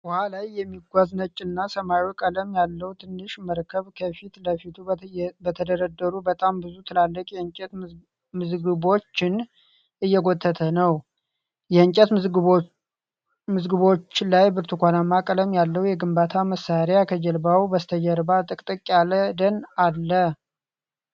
ውሃ ላይ የሚጓዝ ነጭ እና ሰማያዊ ቀለም ያለው ትንሽ መርከብ ከፊት ለፊቱ በተደረደሩ በጣም ብዙ ትላልቅ የእንጨት ምዝግቦችን እየጎተተ ነው። የእንጨት ምዝግቦቹ ላይ ብርቱካናማ ቀለም ያለው የግንባታ መሣሪያ ፣ ከጀልባው በስተጀርባ ጥቅጥቅ ያለ ደን አለ።